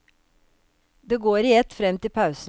Det går i ett frem til pausen.